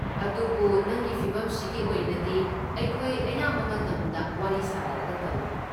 ꯑꯗꯨꯕꯨ ꯅꯪꯒꯤ ꯐꯤꯚꯝꯁꯤꯒꯤ ꯑꯣꯏꯅꯗꯤ, ꯑꯩꯈꯣꯏ ꯑꯌꯥꯝꯕ ꯃꯇꯝꯗ ꯋꯥꯔꯤ ꯁꯥꯅꯔꯒ ꯇꯧꯏ꯫